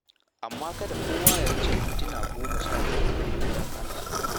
Amma kada kowa ya wuce mintuna goma sha biyar, don Allah.